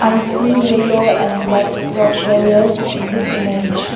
i see yellow and black rock bravia in this image.